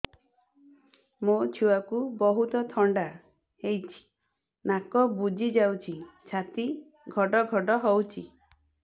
ମୋ ଛୁଆକୁ ବହୁତ ଥଣ୍ଡା ହେଇଚି ନାକ ବୁଜି ଯାଉଛି ଛାତି ଘଡ ଘଡ ହଉଚି